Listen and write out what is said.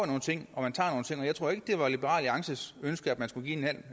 nogle ting og jeg tror ikke det var liberal alliances ønske at man skulle give en